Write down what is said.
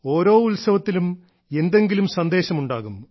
ഓരോ ഉത്സവത്തിലും എന്തെങ്കിലും സന്ദേശം ഉണ്ടാകും